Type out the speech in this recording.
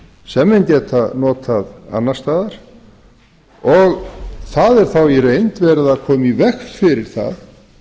sem menn geta notað annars staðar og það er þá í reynd verið að koma í veg fyrir það